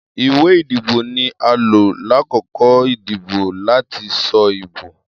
Iwe idibo ni a lo lakoko idibo lati sọ ibo.